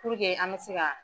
Puruke an ka se ka